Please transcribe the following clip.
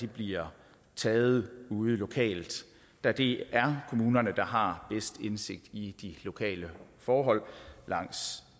bliver taget ude lokalt da det er kommunerne der har bedst indsigt i de lokale forhold langs